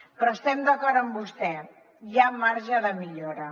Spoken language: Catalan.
però estem d’acord amb vostè hi ha marge de millora